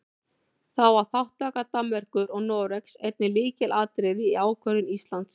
Þá var þátttaka Danmerkur og Noregs einnig lykilatriði í ákvörðun Íslands.